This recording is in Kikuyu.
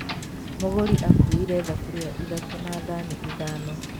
Mũgũri akuuire thaburia ithatũ na thani ithano